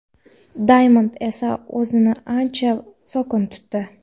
"Daymond" esa o‘zini ancha sokin tutdi.